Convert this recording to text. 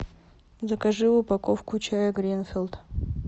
закажи упаковку чая гринфилд